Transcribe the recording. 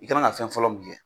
I ka kan ka fɛn fɔlɔ min kɛ